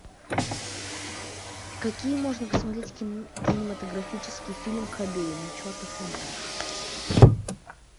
какие можно посмотреть кинематографический фильм кобейн чертов монтаж